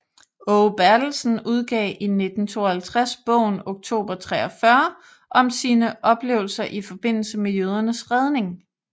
Aage Bertelsen udgav i 1952 bogen Oktober 43 om sine oplevelser i forbindelse med jødernes redning